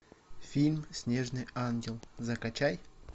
фильм снежный ангел закачай